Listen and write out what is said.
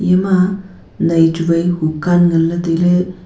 yama nai chu wai hukan nganley tailey.